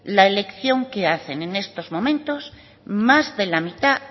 la elección que hacen en estos momentos más de la mitad